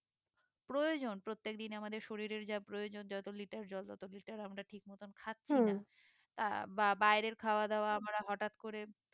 প্রয়োজন প্রত্যেক দিন আমাদের শরীরের যা প্রয়জন যতো litre জল তত litre আমরা ঠিক মতন খাচ্ছি না তা বা বাইরের খাবার খাওয়া দাওয়া আমরা হঠাৎ করে